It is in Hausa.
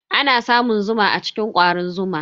Ana samun zuma a cikin kwarin zuma.